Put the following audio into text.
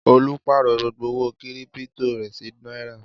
Olú pààrọ̀ gbogbo owó kírípító rẹ̀ sí náírà.